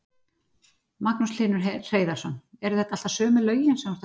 Magnús Hlynur Hreiðarsson: Eru þetta alltaf sömu lögin sem þú ert að spila?